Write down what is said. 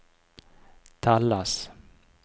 telles